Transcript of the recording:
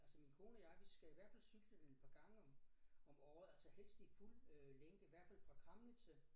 Altså min kone og jeg vi skal i hvert fald cykle den et par gange om om året altså helst i fuld øh længde i hvert fald fra Kramnitze